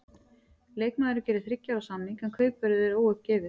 Leikmaðurinn gerir þriggja ára samning, en kaupverðið er óuppgefið.